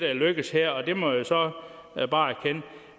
er lykkedes her og det må jeg så bare erkende